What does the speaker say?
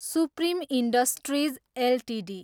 supreme Industries Ltd